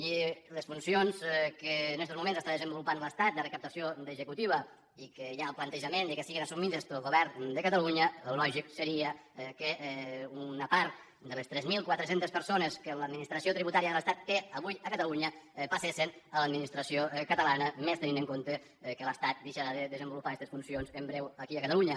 i les funcions que en estos moments està desenvolupant l’estat de recaptació d’executiva i que hi ha el plantejament que siguin assumides pel govern de catalunya el lògic seria que una part de les tres mil quatre cents persones que l’administració tributària de l’estat té avui a catalunya passessen a l’administració catalana més tenint en compte que l’estat deixarà de desenvolupar estes funcions en breu aquí a catalunya